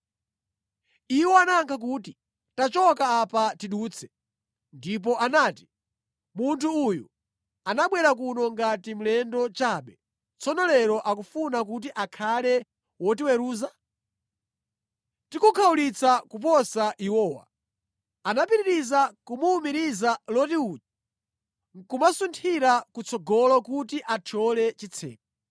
Iwo anayankha kuti, “Tachoka apa tidutse.” Ndipo anati, “Munthu uyu anabwera kuno ngati mlendo chabe, tsono lero akufuna kuti akhale wotiweruza! Tikukhawulitsa kuposa iwowa.” Anapitiriza kumuwumiriza Loti uja nʼkumasunthira kutsogolo kuti athyole chitseko.